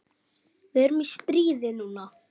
Við erum í stríði núna.